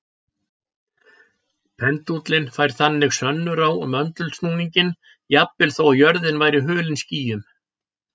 Pendúllinn færir þannig sönnur á möndulsnúninginn jafnvel þó að jörðin væri hulin skýjum.